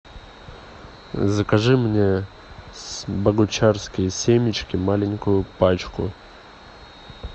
закажи мне богучарские семечки маленькую пачку